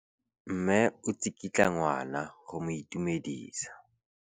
Mme o tsikitla ngwana go mo itumedisa.